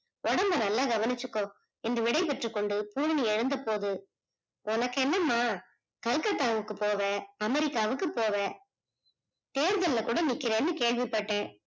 உடம்ப நல்லா கவனிச்சிகோ என்று விடைபெற்று கொண்டு பூரணி எழுந்த போது உனக்கு என்ன மா Calcutta க்கு போவ America க்கு போவ தேர்தல்ல கூட நீக்குறனு கேள்விப்பட்டேன்.